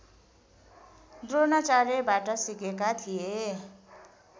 द्रोणाचार्यबाट सिकेका थिए